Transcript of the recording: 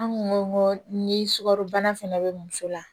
An kun ko ni sukarobana fɛnɛ be muso la